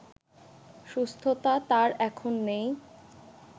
সুস্থতা তার এখন নেই